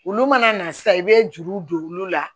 Olu mana na sisan i bɛ juru don olu la